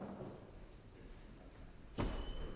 nu